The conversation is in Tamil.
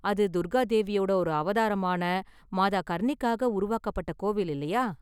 அது துர்கா தேவியோட ஒரு அவதாரமான மாதா கர்ணிக்காக உருவாக்கப்பட்ட கோவில் இல்லயா?